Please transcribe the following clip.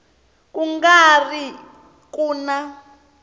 ku nga ri ku na